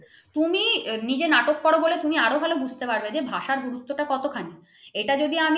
তুমি নিজে নাটক করো বলে তুমি আরো ভালো বুঝতে পারবে যে ভাষা গুরুত্ব কতখানি । এটা যদি আমি